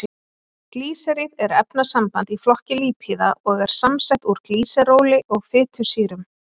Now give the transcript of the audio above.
Glýseríð er efnasamband í flokki lípíða og er samsett úr glýseróli og fitusýrum.